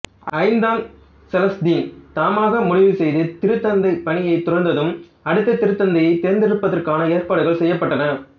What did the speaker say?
ஐந்தாம் செலஸ்தீன் தாமாகவே முடிவுசெய்து திருத்தந்தைப் பணியைத் துறந்ததும் அடுத்த திருத்தந்தையைத் தேர்ந்தெடுப்பதற்கான ஏற்பாடுகள் செய்யப்பட்டன